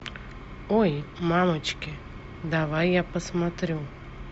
ой мамочки давай я посмотрю